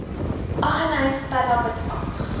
aggeneys pella witbank